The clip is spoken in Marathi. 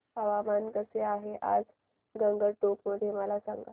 हवामान कसे आहे आज गंगटोक मध्ये मला सांगा